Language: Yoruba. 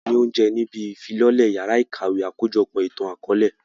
Wọn fún wa ní oúnjẹ níbí ìfilọ́lẹ yàrá ìkàwé àkójọpọ̀ ìtàn akọ̀ọ̀lẹ